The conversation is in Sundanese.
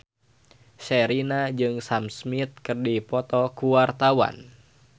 Sherina jeung Sam Smith keur dipoto ku wartawan